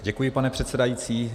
Děkuji, pane předsedající.